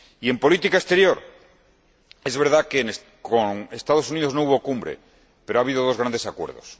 Y en política exterior, es verdad que con los Estados Unidos no hubo cumbre, pero ha habido dos grandes acuerdos.